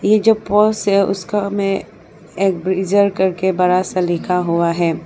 ये जो पोल्स है उसका में एक ब्रीजर करके बड़ा सा लिखा हुआ है।